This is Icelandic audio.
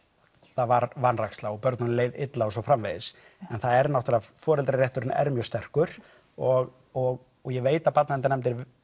það var vanræksla og börnunum leið illa og svo framvegis en foreldrarétturinn er mjög sterkur og og ég veit að barnaverndarnefndir